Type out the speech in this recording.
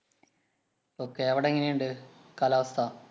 ok അവിടെയെങ്ങനെയുണ്ട്‌ കാലാവസ്ഥ?